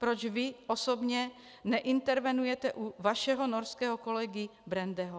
Proč vy osobně neintervenujete u vašeho norského kolegy Brendeho?